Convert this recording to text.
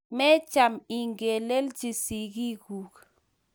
Mecham ingelelchi sigik gug.